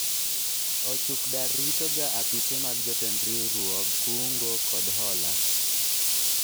ochuk dar rito ga apise mag jotend riwruog kungo kod hola